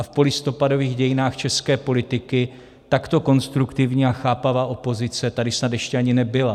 A v polistopadových dějinách české politiky takto konstruktivní a chápavá opozice tady snad ještě ani nebyla.